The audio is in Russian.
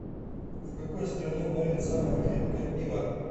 в какой стране варят самое крепкое пиво